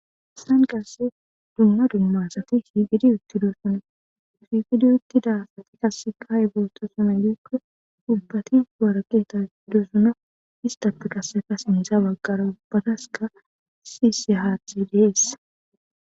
Saan qasse dumma dummaasati hiiqidi uttidoossone usifidi uttida asati kasseka haybooto sama ykko ubbati waraqeta dusuno istata qasseka sindza baggara bbadaska sisi haathe deeessa.